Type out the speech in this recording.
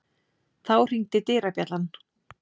Þá hringdi dyrabjallan.